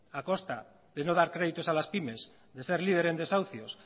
a costa de no dar crédito a las pymes de ser líder en desahucios